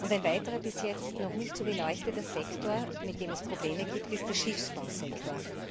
Ein weiterer, bis jetzt noch nicht so beleuchteter Sektor, mit dem es Probleme gibt, ist der Schiffbausektor.